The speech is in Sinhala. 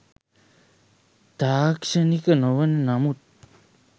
තාක්ෂණික නොවන නමුත්